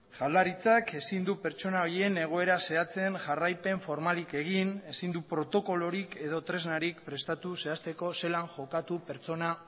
jaurlaritzak ezin du pertsona horien egoera zehatzen jarraipen formalik egin ezin du protokolorik edo tresnarik prestatu zehazteko zelan jokatu pertsona